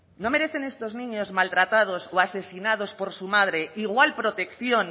no merecen estos niños maltratados o asesinados por su madre igual protección